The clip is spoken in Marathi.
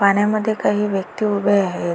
पाण्यामध्ये काही व्यक्ति उभे आहेत.